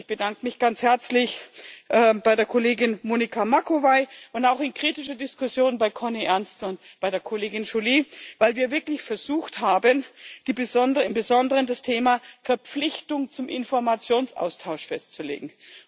Ich bedanke mich ganz herzlich bei der Kollegin Monica Macovei und auch in kritischer Diskussion bei Cornelia Ernst und bei der Kollegin Joly, weil wir wirklich versucht haben, im Besonderen das Thema Verpflichtung zum Informationsaustausch festzulegen.